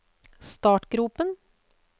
startgropen